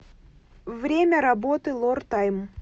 время работы лор тайм